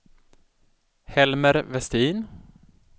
Helmer Westin